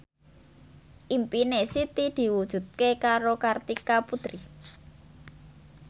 impine Siti diwujudke karo Kartika Putri